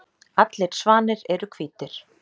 Allir svanir eru hvítir.